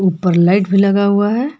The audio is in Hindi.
ऊपर लाइट भी लगा हुआ है।